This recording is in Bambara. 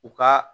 U ka